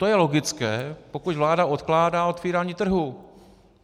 To je logické, pokud vláda odkládá otvírání trhu.